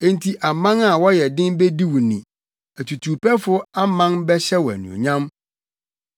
Enti aman a wɔyɛ den bedi wo ni atutuwpɛfo aman bɛhyɛ wo anuonyam.